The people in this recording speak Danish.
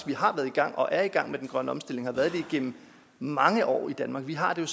vi har været i gang og er i gang med den grønne omstilling og har været det igennem mange år i danmark vi har jo